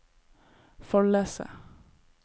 Follese